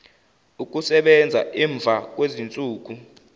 ukusebenza emva kwezinsuku